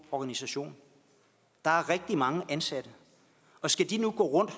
organisation der er rigtig mange ansatte og skal de nu gå rundt